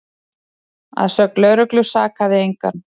Að sögn lögreglu sakaði engan